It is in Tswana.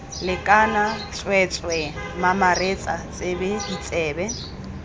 lekana tsweetswee mamaretsa tsebe ditsebe